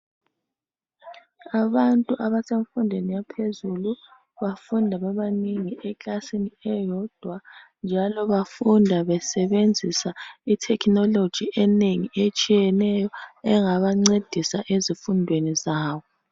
Abantu abasemfundweni yaphezulu bafunda bebanengi ekilasini eyodwa njalo bafunda besebenzisa itecknology enengi etshiyeneyo engabancedisa ezifundweni zabo.